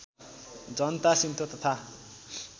जनता Shinto तथा